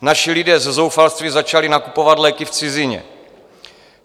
Naši lidé ze zoufalství začali nakupovat léky v cizině.